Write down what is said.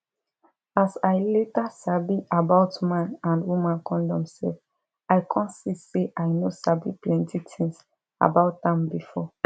as i later sabi about man and woman condom sef i come see say i no sabi plenty things about am before